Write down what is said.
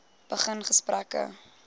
begin gesprekke